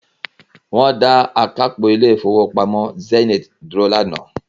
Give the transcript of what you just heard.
wọ́n dá akápò ilé Ìfowópamọ́ Zenith dúró lánàá.